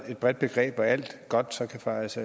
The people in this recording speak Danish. et bredt begreb hvor alt godt så kan fejes